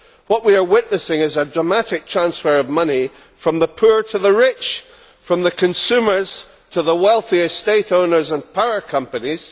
What we are witnessing is a dramatic transfer of money from the poor to the rich and from the consumers to the wealthy estate owners and power companies.